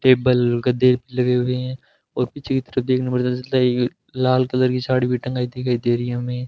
table कदे लगे हुए हैं और पीछे की तरफ देखने में पता चलता है कि लाल कलर की साड़ी भी टंगाई दे रही है हमे --